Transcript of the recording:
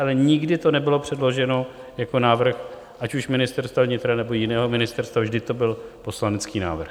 Ale nikdy to nebylo předloženo jako návrh ať už Ministerstva vnitra, nebo jiného ministerstva, vždy to byl poslanecký návrh.